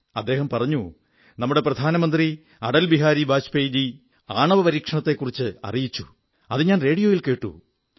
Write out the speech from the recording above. അദ്ദേഹം പറഞ്ഞു നമ്മുടെ പ്രധാനമന്ത്രി അടൽ ബിഹാരി വാജ്പേയിജീ ആണവപരീക്ഷണത്തെക്കുറിച്ച് അറിയിച്ചു അതു ഞാൻ റോഡിയോയിൽ കേട്ടു